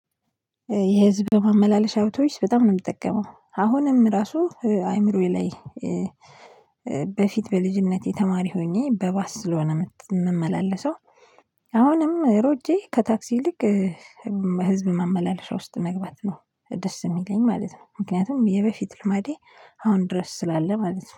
የህዝብ በማመላለሻ አይቶብስ በጣም ነው የምጠቀመው አሁንም ራሱ አይምሮዬ ላይ። በልጅነቴ ተማሪ ሆኜ በባስ ስለሆነ የምመላለሰው። አሁንም ሮጬ ከታክሲ ይልቅ ህዝብ ማመላለሻ ውስጥ መግባት ነው ደስ የሚለኝ ማለት ነው። ምክንያቱም የበፊት ልማዴ አሁን ድረስ ስላለ ማለት ነው